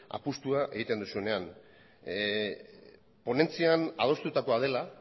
apustua egiten duzunean ponentzian adostutakoa dela